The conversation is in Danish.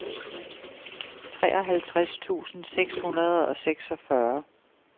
treoghalvtreds tusind seks hundrede og seksogfyrre